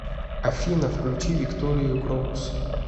афина включи викторию крокус